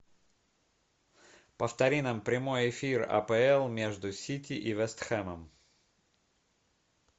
повтори нам прямой эфир апл между сити и вест хэмом